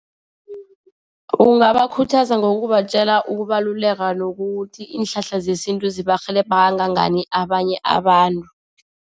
Ungabakhuthaza ngokubatjela ukubaluleka nokuthi iinhlahla zesintu zibarhelebhe kangangani abanye abantu.